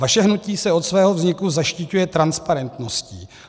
Vaše hnutí se od svého vzniku zaštiťuje transparentností.